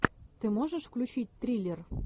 ты можешь включить триллер